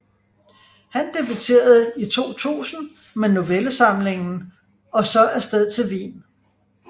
Han debuterede i 2000 med novellesamlingen Og så afsted til Wien